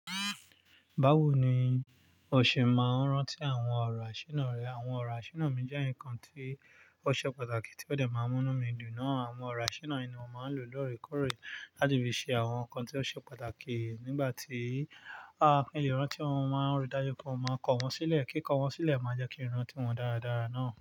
Báwo ni o ṣe máa ń rántí àwọn ọ̀rọ̀ àṣírí rẹ? Àwọn ọ̀rọ̀ àṣírí mi jẹ́ ǹkan tí ó ṣe pàtàkì tí ó dẹ̀ máa ń mú mí dùn. Àwọn ọ̀rọ̀ àṣína ni mo máa ń lò lóòrèkóòrè láti fi ṣe àwọn nǹkan tí ó ṣe pàtàkì nígbà tí a kìn lè rántí wọn, mo máa ń ri dájú pé mo máa kọ wọ́n sílẹ̀. Kí kọwọ́n sílẹ̀ má jẹ́ kín rántí wọn dáradára náà.